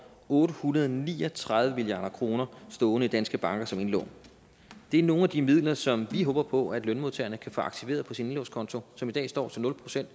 otte hundrede og ni og tredive milliard kroner stående i danske banker som indlån det er nogle af de midler som vi håber på at lønmodtagerne kan få aktiveret på deres indlånskonto og som i dag står til nul procent